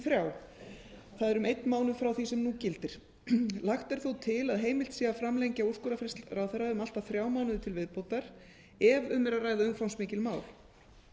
það er um einn mánuð frá því sem nú gildir lagt er þó til að heimilt sé að framlengja úrskurðarfrest ráðherra um allt að þrjá mánuði til viðbótar ef um er að ræða umfangsmikil mál